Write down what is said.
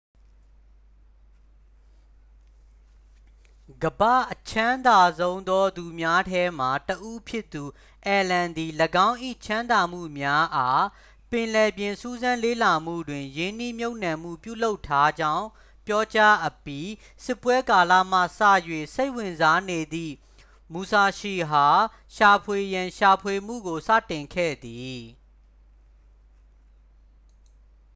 ကမ္ဘာ့အချမ်းသာဆုံးသောသူများထဲမှ တစ် ဦးဖြစ်သူ အယ်လန် သည် ၎င်း၏ ချမ်းသာမှုများအား ပင်လယ်ပြင်စူးစမ်းလေ့လာမှုတွင် ရင်းနှီးမြှပ်နှံမှု ပြုလုပ်ထားကြောင်း ပြောကြားအပြီး စစ်ပွဲကာလမှစ၍ စိတ်ဝင်စားနေသည့် မူဆာရှီ အား ရှာဖွေရန် ရှာဖွေမှုကိုစတင်ခဲ့သည်